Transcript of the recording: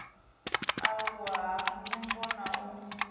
aluwa ha ndumbo na u